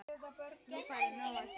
Nú færðu nóg að gera